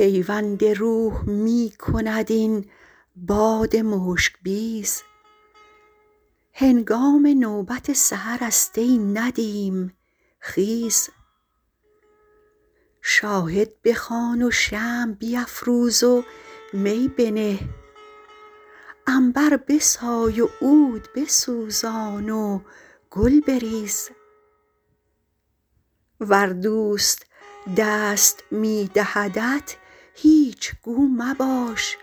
پیوند روح می کند این باد مشک بیز هنگام نوبت سحرست ای ندیم خیز شاهد بخوان و شمع بیفروز و می بنه عنبر بسای و عود بسوزان و گل بریز ور دوست دست می دهدت هیچ گو مباش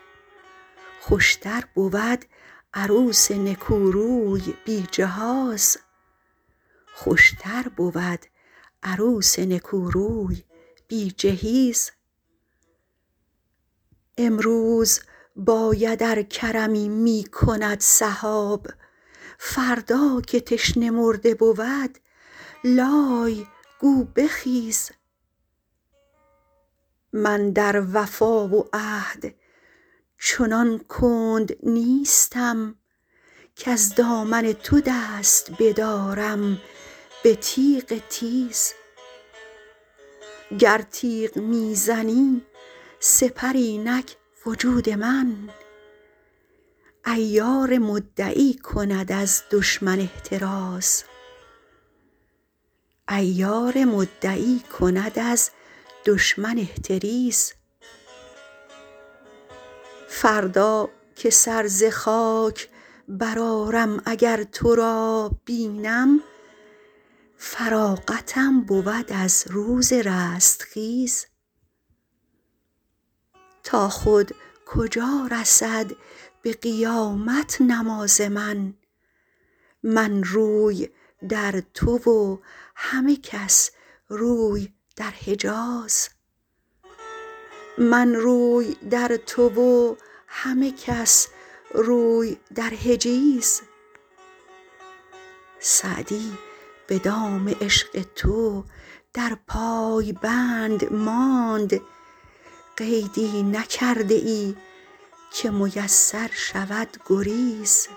خوشتر بود عروس نکوروی بی جهیز امروز باید ار کرمی می کند سحاب فردا که تشنه مرده بود لای گو بخیز من در وفا و عهد چنان کند نیستم کز دامن تو دست بدارم به تیغ تیز گر تیغ می زنی سپر اینک وجود من عیار مدعی کند از دشمن احتریز فردا که سر ز خاک برآرم اگر تو را بینم فراغتم بود از روز رستخیز تا خود کجا رسد به قیامت نماز من من روی در تو و همه کس روی در حجیز سعدی به دام عشق تو در پای بند ماند قیدی نکرده ای که میسر شود گریز